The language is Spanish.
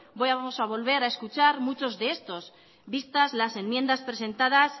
vamos a volver a escuchar muchos de estos vistas las enmiendas presentadas